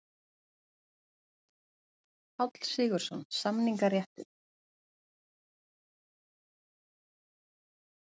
Páll Sigurðsson: Samningaréttur.